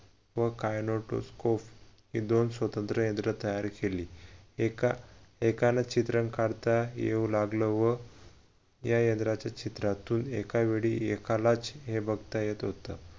व kinetoscope ही दोन स्वतंत्र यंत्र तयार केली एकाला चित्रण करता येऊ लागलं व या यंत्राच्या छिद्रातून एका वेळी एकालाच हे बघता येत होत.